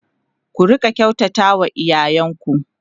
ku Rika kyautata wa iyayen ku